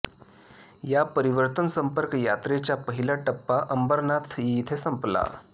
या परिवर्तन संपर्क यात्रेचा पहिला टप्पा अंबरनाथ येथे संपला